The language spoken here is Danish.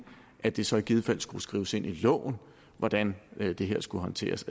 at det så i givet fald som skrives ind i loven hvordan det her skal håndteres